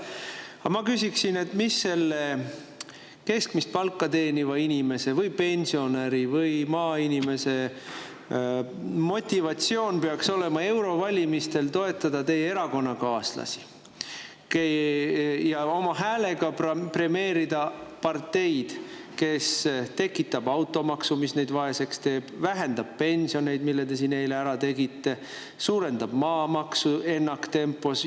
Aga ma küsin, mis peaks olema keskmist palka teeniva inimese või pensionäri või maainimese motivatsioon eurovalimistel toetada teie erakonnakaaslasi ja oma häälega premeerida parteid, kes tekitab automaksu, mis neid vaeseks teeb, vähendab pensioneid, mille te siin eile ära tegite, ja suurendab maamaksu ennaktempos.